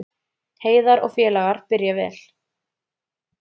Heiðar og félagar byrja vel